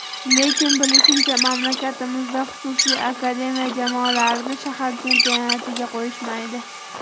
Lekin bilishimcha, mamlakatimizda xususiy akademiya jamoalarini shahar chempionatlariga qo‘yishmaydi.